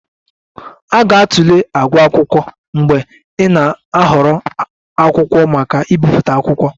A ga-atụle àgwà akwụkwọ mgbe ị na-ahọrọ akwụkwọ maka ibipụta akwụkwọ